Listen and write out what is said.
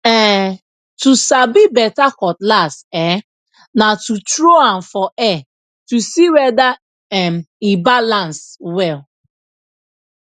um to sabi beta cutlass um na to tro am for air to see weda um e balans well